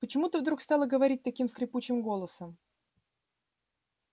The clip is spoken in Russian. почему ты вдруг стала говорить таким скрипучим голосом